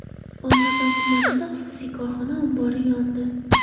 Olmazor tumanida xususiy korxona ombori yondi.